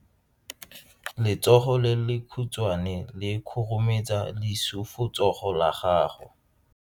Letsogo le lekhutshwane le khurumetsa lesufutsogo la gago.